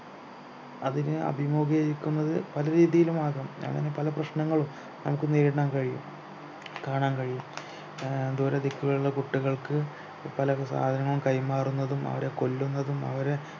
അതിനെ അഭിമുഖീകരിക്കുന്നത് പലരീതിയിലും ആകാം അങ്ങനെ പല പ്രശ്നങ്ങളും നമുക്ക് നേരിടാൻ കഴിയും കാണാൻ കഴിയും ആഹ് ദൂരെദിക്കുകളിലുള്ള കുട്ടികൾക്ക് പല സാധനങ്ങളും കൈമാറുന്നതും അവരെ കൊല്ലുന്നതും അവരെ